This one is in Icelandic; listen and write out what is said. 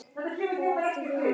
Það á ekki við mig.